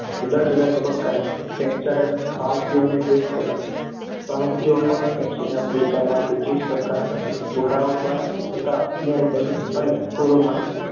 જુદા જુદા તબક્કામાં વહેંચાયેલા ભારતીયોને એક કર્યા. ભારતીયો પર દક્ષિણ આફ્રિકામાં બ્રિટીશ સરકાર અને ગોરાઓ દ્વારા થતા અન્યાય, દમન અને ઓરમાયા